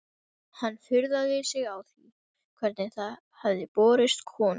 Hann furðaði sig á því hvernig það hefði borist konungi.